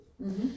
Mh